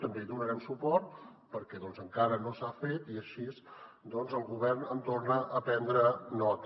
també hi donarem suport perquè encara no s’ha fet i així doncs el govern en torna a prendre nota